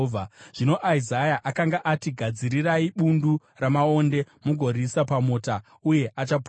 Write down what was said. Zvino Isaya akanga ati, “Gadzirai bundu ramaonde mugoriisa pamota, uye achapora.”